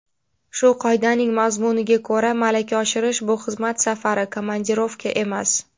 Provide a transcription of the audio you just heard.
Shu qoidaning mazmuniga ko‘ra malaka oshirish bu xizmat safari (komandirovka) emas.